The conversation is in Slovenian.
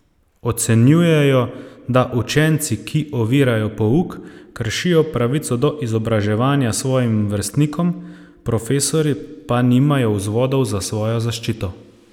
Ocenjujejo, da učenci, ki ovirajo pouk, kršijo pravico do izobraževanja svojim vrstnikom, profesorji pa nimajo vzvodov za svojo zaščito.